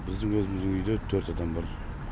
біздің өзіміздің үйде төрт адам бар